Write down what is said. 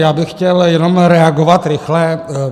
Já bych chtěl jenom reagovat rychle.